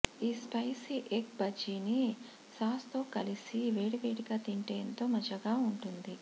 ఈ spicy egg బజ్జీని సాస్తో కలిపి వేడివేడిగా తింటే ఎంతో మజాగా ఉంటుంది